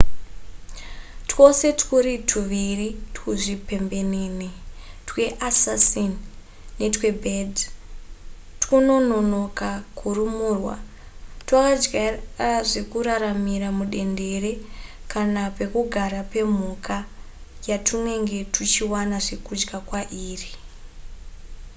twose twuri tuviri tuzvipembenene tweassassin netwebed twunonoka kurumurwa twakajaira zvekuraramira mudendere kana pekugara pemhuka yatwunenge tuchiwana zvekudya kwairi